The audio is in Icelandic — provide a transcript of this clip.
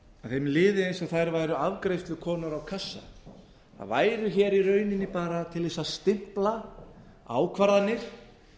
þeim liði eins og þær væru afgreiðslukonur á kassa þær væru hér í rauninni bara til að stimpla ákvarðanir